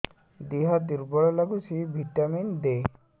ଦିହ ଦୁର୍ବଳ ଲାଗୁଛି ଭିଟାମିନ ଦେ